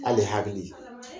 Ali hakili